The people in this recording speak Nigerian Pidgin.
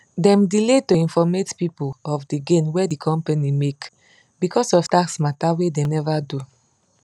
dem delay to informate people of di gain wey di company make becos of tax matter wey dem never do